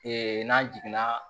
n'an jiginna